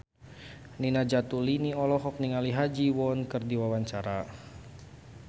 Nina Zatulini olohok ningali Ha Ji Won keur diwawancara